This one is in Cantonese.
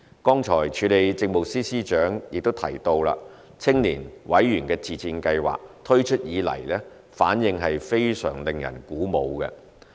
剛才署理政務司司長亦提到青年委員自薦試行計劃推出以來，反應非常令人鼓舞。